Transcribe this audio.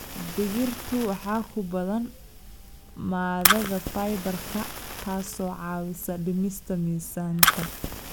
Digirta waxaa ku badan maadada fiber-ka taasoo caawisa dhimista miisaanka.